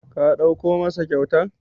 Ka ɗauko masa kyautan?